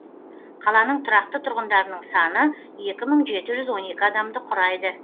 қаланың тұрақты тұрғындарының саны екі мың жеті жүз он екі адамды құрайды